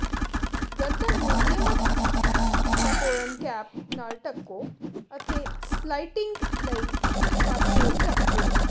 ਗਰਦਨ ਨੂੰ ਨਿਯਮਤ ਕੈਪੋਰਨ ਕੈਪ ਨਾਲ ਢੱਕੋ ਅਤੇ ਸਲਾਈਟਿੰਗ ਲਈ ਇਕ ਪਾਸੇ ਰੱਖ ਦਿਓ